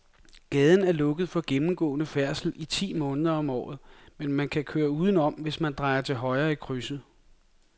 Gaden er lukket for gennemgående færdsel ti måneder om året, men man kan køre udenom, hvis man drejer til højre i krydset.